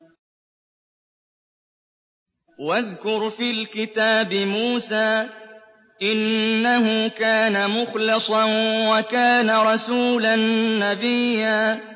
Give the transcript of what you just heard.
وَاذْكُرْ فِي الْكِتَابِ مُوسَىٰ ۚ إِنَّهُ كَانَ مُخْلَصًا وَكَانَ رَسُولًا نَّبِيًّا